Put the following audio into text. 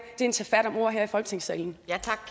er en tagfat om ord her i folketingssalen